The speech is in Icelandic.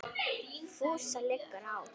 FÚSA LIGGUR Á